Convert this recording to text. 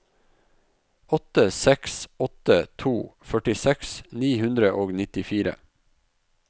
åtte seks åtte to førtiseks ni hundre og nittifire